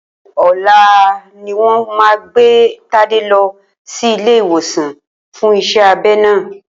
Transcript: Ò̩la ni wó̩n máa gbé Tádé lo̩ sí ilé iwòsan fún is̩é̩ abe̩ náà